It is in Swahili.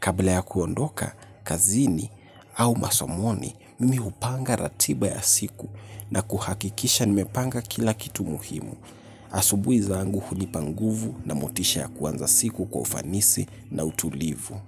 Kabla ya kuondoa kazini au masomoni, mimi hupanga ratiba ya siku na kuhakikisha nimepanga kila kitu muhimu. Asubuhi zangu hunipa nguvu na motisha kuanza siku kwa ufanisi na utulivu.